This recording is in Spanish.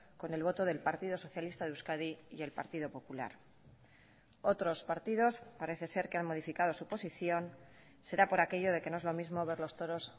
con el voto del partido socialista de euskadi y el partido popular otros partidos parece ser que han modificado su posición será por aquello de que no es lo mismo ver los toros